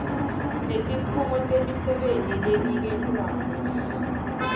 netikhungo temisebenti leniketwako